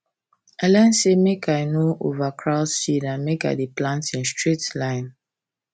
i learn say make i no overcrowd seed and make i dey plant in straight line